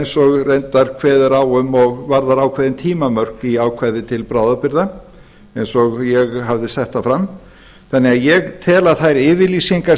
eins og reyndar kveðið er á um og varðar ákveðin tímamörk í ákvæði til bráðabirgða eins og ég hafði sett það fram þannig að ég tel að þær yfirlýsingar